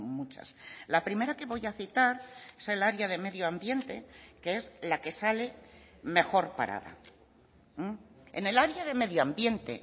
muchas la primera que voy a citar es el área de medio ambiente que es la que sale mejor parada en el área de medio ambiente